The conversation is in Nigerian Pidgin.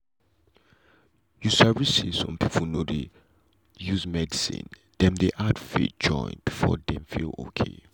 you sabi say some people no dey use only medicine dem dey add faith join before dem feel okay.